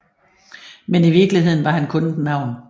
Men i virkeligheden var han kun et navn